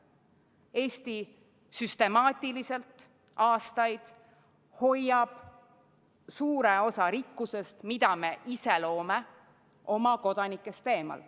Eesti on süstemaatiliselt aastaid hoidnud suure osa rikkusest, mida me ise oleme loonud, oma kodanikest eemal.